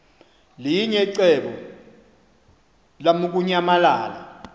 linye icebo lamukunyamalala